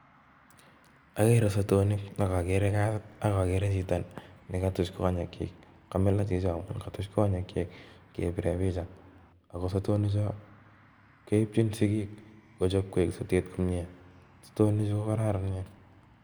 Ageree sotonik Al agere Chito nikatuch konyek chiik ako sotoni Choo keipchin sigik kochop kokararanitu komnyeee